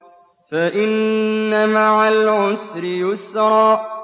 فَإِنَّ مَعَ الْعُسْرِ يُسْرًا